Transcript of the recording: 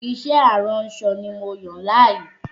Iṣẹ́ aránsọ ni mo yàn láàyò